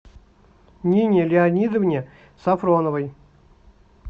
нине леонидовне сафроновой